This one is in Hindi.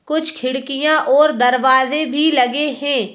कुछ खिड़कियां और दरवाजे भी लगे हैं।